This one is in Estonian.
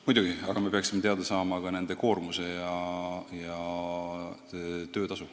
Muidugi, aga me peaksime teada saama ka nende inimeste koormuse ja töötasu.